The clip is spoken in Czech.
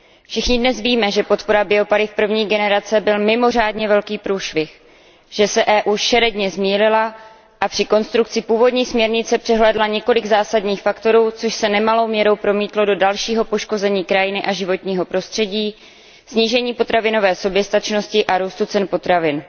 Všichni dnes víme, že podpora biopaliv první generace byl mimořádně velký průšvih, že se Evropská unie šeredně zmýlila a při konstrukci původní směrnice přehlédla několik zásadních faktorů, což se nemalou měrou promítlo do dalšího poškození krajiny a životního prostředí, snížení potravinové soběstačnosti a růstu cen potravin.